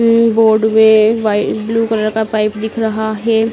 ये रोड में white blue colour का पाइप दिख रहा है।